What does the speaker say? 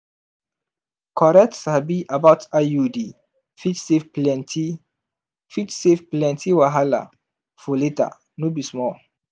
correct sabi about iud fit save plenty fit save plenty wahala for later no be small